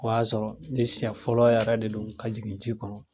O y'a sɔrɔ ni siɲɛ fɔlɔ yɛrɛ de don ka jigin ji kɔnɔ.